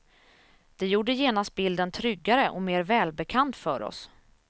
Det gjorde genast bilden tryggare och mer välbekant för oss.